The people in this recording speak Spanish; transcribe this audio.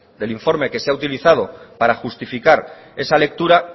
del informe que se ha utilizado para justificar esa lectura